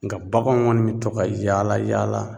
Nga baganw kɔni bi tɔ ka yaala yaala